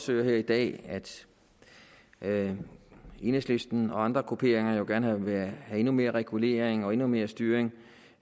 høre her i dag at enhedslisten og andre grupperinger gerne vil have endnu mere regulering og endnu mere styring